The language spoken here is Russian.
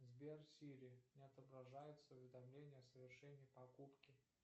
сбер сири не отображается уведомление о совершении покупки